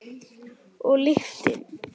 Og lyktin.